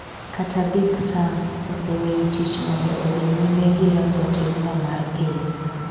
kata Big Sam, oseweyo tich mondo odhi nyime giloso timno mar piny.